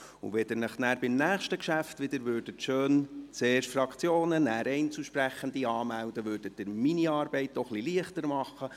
Wenn Sie sich dann beim nächsten Geschäft wieder schön anmelden, zuerst die Fraktionen, nachher die Einzelsprechenden, würden Sie meine Arbeit auch etwas leichter machen.